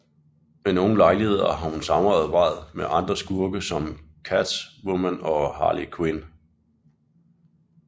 Ved nogle lejligheder har hun samarbejdet med andre skurke som Catwoman og Harley Quinn